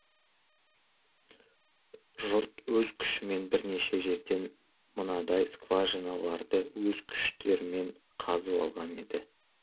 жұрт өз күшімен бірнеше жерден мынадай скважиналарды өз күштерімен қазып алған еді